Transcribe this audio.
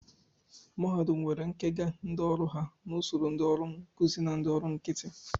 Mahadum nwere nkega ndị ọrụ ha n'usoro ndị ọrụ nkụzi na ndị ọrụ nkịtị